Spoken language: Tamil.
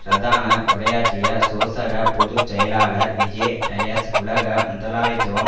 பிரதான உரையாற்றிய சோசக பொது செயலாளர் விஜே டயஸ் உலக முதலாளித்துவம்